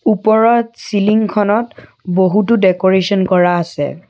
ওপৰত চিলিংখনত বহুতো ডেকোৰেচন কৰা আছে।